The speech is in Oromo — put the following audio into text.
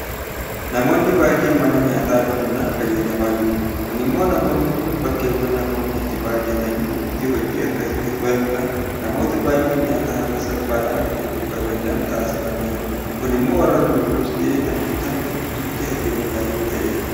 Namoonni baay'een mana nyaataa banuudhaan fayyadamaa jiru. Kun immoo namoonni kun bakkeewwan namoonni itti baay'atanitti hojii akkasii banuudhaan namoota baay'een nyaata haala salphaadhaan argachuu akka danda'an taasifameera. Kun immoo waarra gurgurus ta'ee kan bitan gidduutti hariiroo gaarii ta'eera.